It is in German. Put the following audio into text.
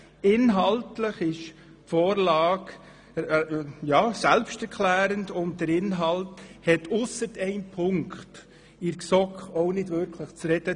Inhaltlich ist die Vorlage selbsterklärend und hat in der GSoK, ausser einem Punkt, kaum zu diskutieren gegeben.